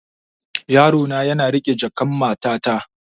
Yarona yana riƙe jakan matata.